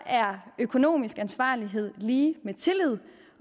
er økonomisk ansvarlighed lig med tillid